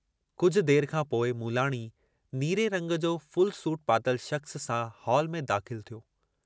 कुझ देर खां पोइ मूलाणी, नीरे रंग जो फुल सूट पातल शख़्स सां हाल में दाख़िल थियो।